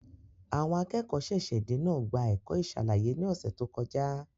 Àwọn akẹ́kọ̀ọ́ ṣẹ̀ṣẹ̀-dé náà gba ẹ̀kọ́ ìṣàlàyé ní ọ̀sẹ̀ tó kọjá.